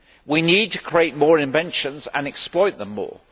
We need to create more inventions and exploit them more.